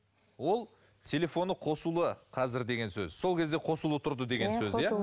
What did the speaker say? ол телефоны қосулы қазір деген сөз сол кезде қосулы тұрды деген сөз